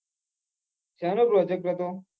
શેનો project હતો?